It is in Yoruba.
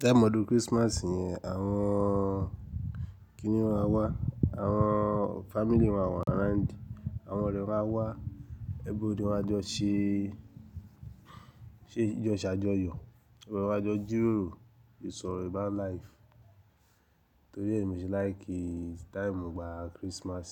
Time ọdún Christmas yẹn, àwọn kínni wọn a wá, àwọn family wọn a wà around, àwọn ọ̀rẹ́ máa wá, everybody máa jọ ṣé, ṣé jọ ṣájọyọ̀. Oro wa jo jírórò, ìsọ̀rọ̀ ẹ bá live. Torí ẹ mi ṣí like time ìgbà Christmas.